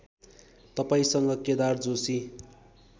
तपाईँसँग केदार जोशी